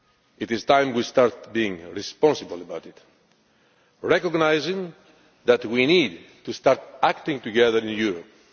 It is time we started being responsible about it, recognising that we need to start acting together in Europe.